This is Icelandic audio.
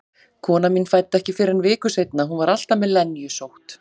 Konan mín fæddi ekki fyrr en viku seinna, hún var alltaf með lenjusótt.